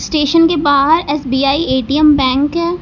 station के बाहर SBI ATM bank --